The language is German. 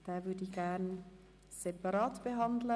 Diesen möchte ich gern separat behandeln.